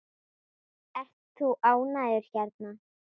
Ert þú ánægður hérna?